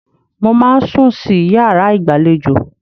Mo máa ń sùn sí yàrá ìgbàlejò.